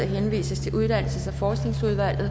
henvises til uddannelses og forskningsudvalget